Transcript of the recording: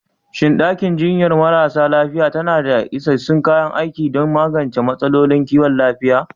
Shin ɗakin jinyar marasa lafiya tana da isassun kayan aiki don magance matsalolin kiwon lafiya?